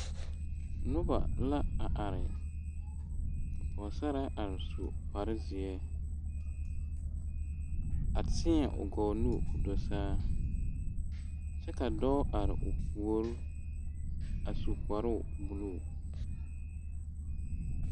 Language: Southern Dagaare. Noba la a are pɔge are su kpar zeɛ a teɛ o gɔɔ nu ka o do saa kyɛ ka dɔɔ are o puori a su kparoo buluu